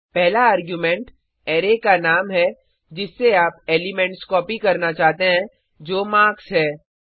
पहला argument array का नाम है जिससे आप एलिमेंट्स कॉपी करना चाहते हैं जो मार्क्स है